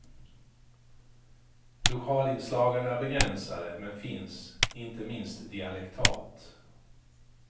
Lokalinslagen är begränsade men finns, inte minst dialektalt.